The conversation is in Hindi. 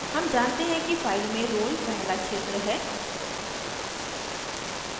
हम जानते हैं कि file में roll नंबर पहला क्षेत्र है